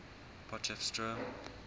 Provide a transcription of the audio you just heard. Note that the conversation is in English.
potchefstroom